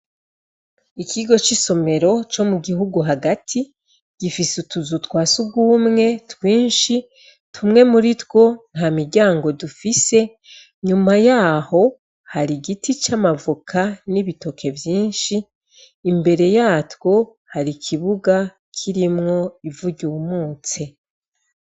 Ikigo c'isomero co mu gihugu hagati gifise utuzu twasugumwe twinshi tumwe muritwo ntamiryango dufise inyuma yaho hari igiti c'amavoka n'ibitoke vyinshi imbere yatwo hari ikibuga kirimwo ivu ryumutse.